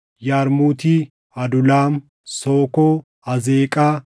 Yarmuuti, Adulaam, Sookoo, Azeeqaa,